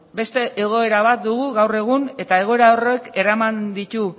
beste egoera bat dugu gaur egun eta egoera horrek eraman ditu